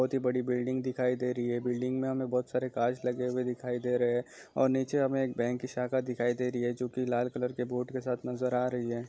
बहुत बड़ी बिल्डिंग दिखाई दे रही है बिल्डिंग में हमें बहुत सारे कांच लगे हुए दिखाई दे रहे है और नीचे हमें एक बैंक की शाखा दिखाई दे रही है जो की लाल कलर के बोर्ड के साथ नजर आ रही है।